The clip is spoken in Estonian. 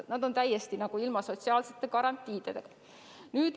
Nad on täiesti ilma sotsiaalsete garantiideta.